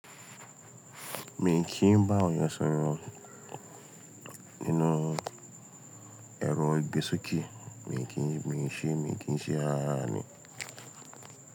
Mi kìí bá àwọn yàn ṣòro nínú ẹrọ ìgbésókè. Mi kìí, mi kì í ṣe, mi kì í ṣe ara ni.